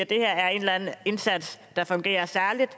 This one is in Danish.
det her er en indsats der fungerer særlig